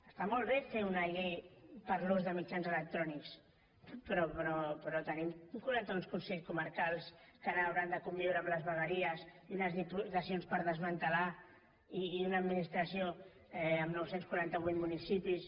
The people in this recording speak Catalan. està molt bé fer una llei per a l’ús de mitjans electrònics però tenim quaranta un consells comarcals que ara hauran de conviure amb les vegueries i unes diputacions per desmantellar i una administració amb nou cents i quaranta vuit municipis